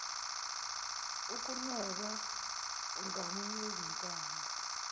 ukunweba umgamu wezintambo